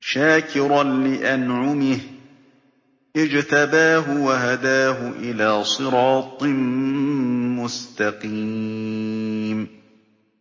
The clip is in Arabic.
شَاكِرًا لِّأَنْعُمِهِ ۚ اجْتَبَاهُ وَهَدَاهُ إِلَىٰ صِرَاطٍ مُّسْتَقِيمٍ